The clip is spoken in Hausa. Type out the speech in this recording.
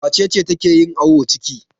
Wace ce take yin awon ciki?